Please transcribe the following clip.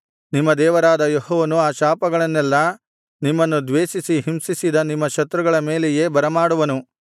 ನಿಮ್ಮ ದೇವರಾದ ಯೆಹೋವನು ಆ ಶಾಪಗಳನ್ನೆಲ್ಲಾ ನಿಮ್ಮನ್ನು ದ್ವೇಷಿಸಿ ಹಿಂಸಿಸಿದ ನಿಮ್ಮ ಶತ್ರುಗಳ ಮೇಲೆಯೇ ಬರಮಾಡುವನು